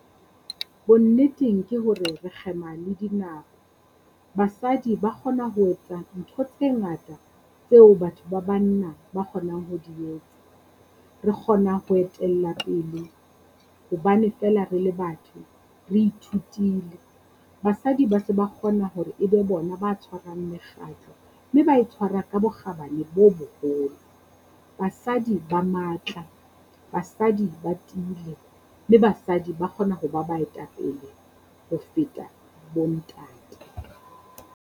Bonneteng ke hore re kgema le dinako, basadi ba kgona ho etsa ntho tse ngata tseo batho ba banna ba kgonang ho di etsa. Re kgona ho etella pele hobane feela re le batho, re ithutile. Basadi ba se ba kgona hore e be bona ba tshwarang mekgatlo, mme ba e tshwara ka bokgabane bo boholo, basadi ba matla, basadi ba tiile, mme basadi ba kgona ho ba baetapele ho feta bo ntate.